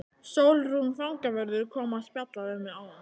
Sólrún fangavörður kom að spjalla við mig áðan.